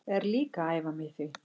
Er líka að æfa mig í því.